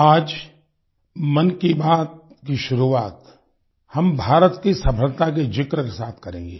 आज मन की बात की शुरुआत हम भारत की सफलता के ज़िक्र के साथ करेंगे